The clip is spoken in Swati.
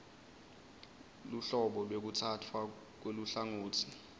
luhlobo lwekutsatfwa kweluhlangotsi